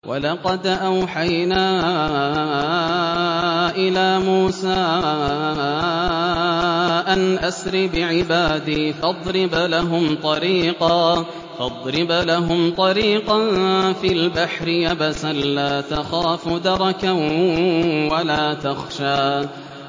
وَلَقَدْ أَوْحَيْنَا إِلَىٰ مُوسَىٰ أَنْ أَسْرِ بِعِبَادِي فَاضْرِبْ لَهُمْ طَرِيقًا فِي الْبَحْرِ يَبَسًا لَّا تَخَافُ دَرَكًا وَلَا تَخْشَىٰ